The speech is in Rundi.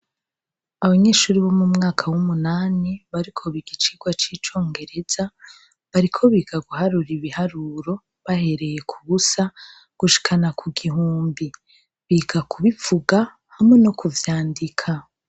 Abanyeshure bo mu mwaka w'umunani bariko biga icigwa c'icongereza, bariko biga guharura ibiharuro bahereye k'ubusa gushikana ku gihumbi, biga kubivuga hamwe no kuvyandika.